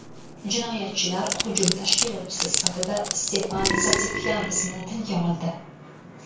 Jinoyatchilar hujum tashkilotchisi sifatida Stepan Zatikyan ismini tilga oldi .